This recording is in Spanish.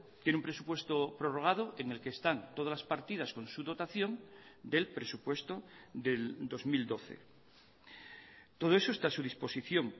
tiene un presupuesto prorrogado en el que están todas las partidas con su dotación del presupuesto del dos mil doce todo eso está a su disposición